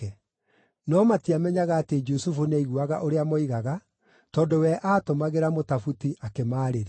No matiamenyaga atĩ Jusufu nĩaiguaga ũrĩa moigaga, tondũ we aatũmagĩra mũtabuti akĩmaarĩria.